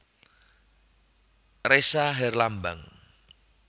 Ressa Herlambang